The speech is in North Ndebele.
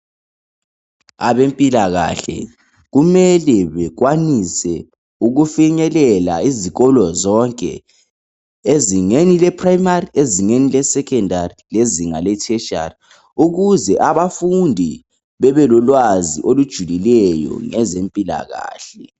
Abempilakahle kumele bekwanise ukufinyelela izikolo zonke ezingeni leprimary ezingeni le secondary lezinga le tertiary ukuze abafundi bebe lolwazi olujulileyo ngezempilakahle.